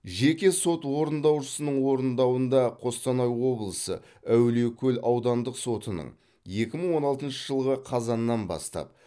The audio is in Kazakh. жеке сот орындаушысының орындауында қостанай облысы әулиекөл аудандық сотының екі мың он алтыншы жылғы қазаннан бастап